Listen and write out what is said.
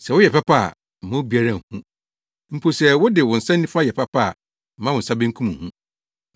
Sɛ woyɛ papa a, mma obiara nhu, mpo sɛ wode wo nsa nifa yɛ papa a, mma wo nsa benkum nhu,